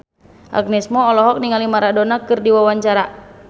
Agnes Mo olohok ningali Maradona keur diwawancara